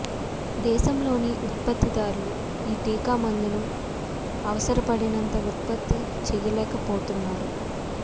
దేశంలోని ఉత్పత్తిదారులు ఈ టీకా మందును అవసరపడినంత ఉత్పత్తి చేయలేక పోతున్నారు